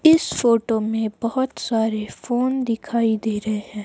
इस फोटो में बहोत सारे फोन दिखाई दे रहे हैं।